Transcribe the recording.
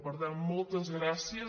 per tant moltes gràcies